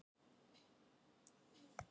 Hér eru átta flottar blokkir.